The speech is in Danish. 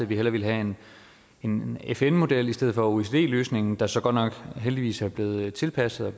vi hellere ville have en fn model i stedet for oecd løsningen der så godt nok heldigvis er blevet tilpasset og